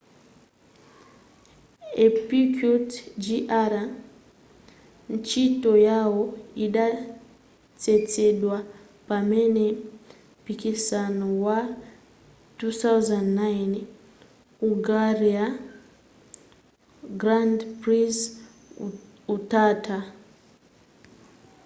a piquet jr ntchito yawo idathetsedwa pamene mpikisano wa 2009 hungarian grand prix utatha